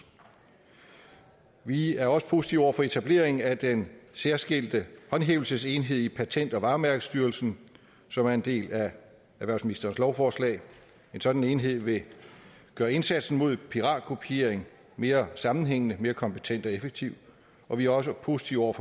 vi er også positive over for etablering af den særskilte håndhævelsesenhed i patent og varemærkestyrelsen som er en del af erhvervsministerens lovforslag en sådan enhed vil gøre indsatsen mod piratkopiering mere sammenhængende mere kompetent og effektiv og vi er også positive over